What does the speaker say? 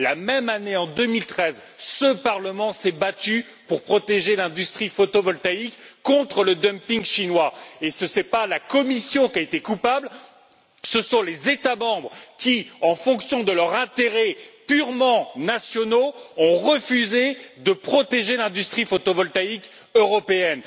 La même année, en 2013, ce Parlement s'est battu pour protéger l'industrie photovoltaïque contre le dumping chinois, et ce n'est pas la Commission qui a été coupable, ce sont les États membres qui, en fonction de leurs intérêts purement nationaux, ont refusé de protéger l'industrie photovoltaïque européenne.